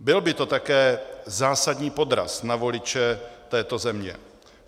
Byl by to také zásadní podraz na voliče této země.